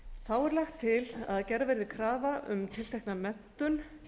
þá er lagt til að gerð verði krafa um tiltekna menntun